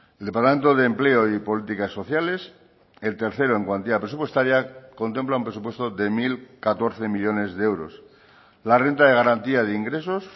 el departamento de empleo y políticas sociales el tercero en cuantía presupuestaria contempla un presupuesto de mil catorce millónes de euros la renta de garantía de ingresos